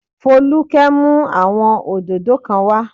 Folúkẹ́ mú àwọn òdòdó kan wá